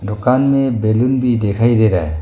दुकान में बैलुन भी दिखाई दे रहा है।